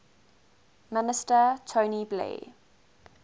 minister tony blair